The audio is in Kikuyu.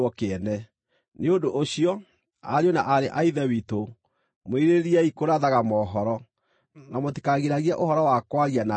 Nĩ ũndũ ũcio, ariũ na aarĩ a Ithe witũ, mwĩrirĩriei kũrathaga mohoro, na mũtikagiragie ũhoro wa kwaria na thiomi.